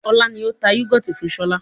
Ọlá ni ó tà yúgọ́ọ́tì fún sọlá